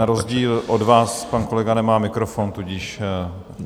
Na rozdíl od vás pan kolega nemá mikrofon, tudíž...